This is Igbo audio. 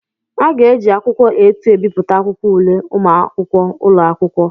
Aga eji akwụkwọ A2 ebipụta akwụkwọ ule ụmụakwụkwọ ụlọ akwụkwọ.